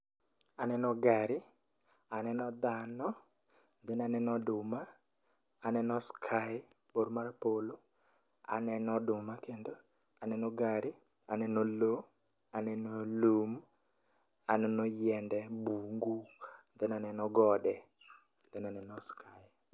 Aneno gari, aneno dhano, then aneno oduma, aneno sky bor mar polo, aneno oduma kendo, aneno gari, aneno lo, aneno lum, aneno yiende e bungu, then aneno gode, then aneno sky.